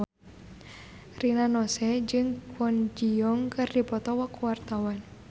Rina Nose jeung Kwon Ji Yong keur dipoto ku wartawan